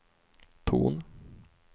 ton